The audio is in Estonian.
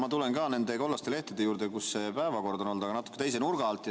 Ma tulen ka nende kollaste lehtede juurde, mille peal see päevakord on olnud, aga natuke teise nurga alt.